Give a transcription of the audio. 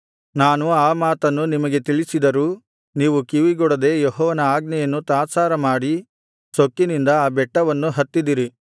ನಾನು ಆ ಮಾತನ್ನು ನಿಮಗೆ ತಿಳಿಸಿದರೂ ನೀವು ಕಿವಿಗೊಡದೆ ಯೆಹೋವನ ಆಜ್ಞೆಯನ್ನು ತಾತ್ಸಾರಮಾಡಿ ಸೊಕ್ಕಿನಿಂದ ಆ ಬೆಟ್ಟವನ್ನು ಹತ್ತಿದಿರಿ